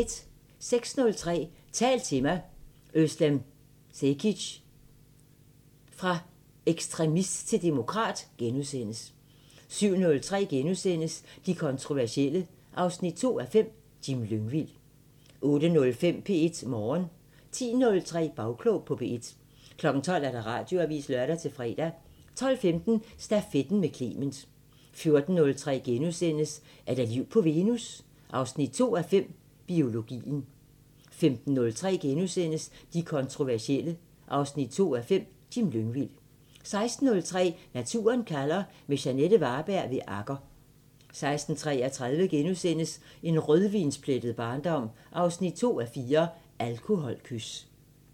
06:03: Tal til mig – özlem Cekic: Fra ekstremist til demokrat * 07:03: De kontroversielle 2:5 – Jim Lyngvild * 08:05: P1 Morgen 10:03: Bagklog på P1 12:00: Radioavisen (lør-fre) 12:15: Stafetten med Clement 14:03: Er der liv på Venus? 2:5 – Biologien * 15:03: De kontroversielle 2:5 – Jim Lyngvild * 16:03: Naturen kalder – med Jeanette Varberg ved Agger 16:33: En rødvinsplettet barndom 2:4 – Alkoholkys *